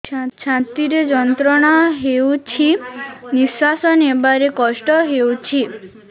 ଛାତି ରେ ଯନ୍ତ୍ରଣା ହେଉଛି ନିଶ୍ଵାସ ନେବାର କଷ୍ଟ ହେଉଛି